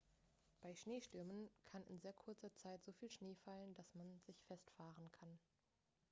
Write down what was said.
bei schneestürmen kann in sehr kurzer zeit so viel schnee fallen dass man sich festfahren kann